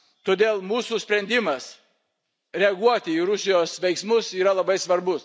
Todėl mūsų sprendimas reaguoti į Rusijos veiksmus yra labai svarbus.